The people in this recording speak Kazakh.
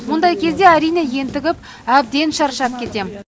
мұндай кезде әрине ентігіп әбден шаршап кетемін